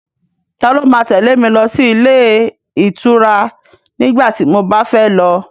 Ta ló ma tẹ́lẹ̀ mi lọ sí ilé ìtura nígbà tí mo bá fẹ́ lọ?